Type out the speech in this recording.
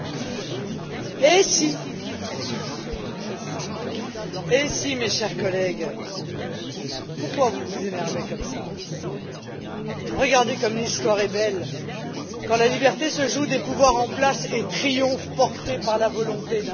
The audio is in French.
Monsieur le Président, eh si, mes chers collègues Pourquoi vous vous énervez comme cela? Regardez comme l'histoire est belle quand la liberté se joue des pouvoirs en place et triomphe, portée par la volonté d'un peuple.